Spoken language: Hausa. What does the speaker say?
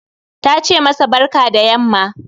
Tace masa barka da yamma